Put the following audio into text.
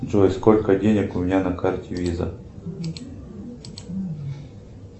джой сколько денег у меня на карте виза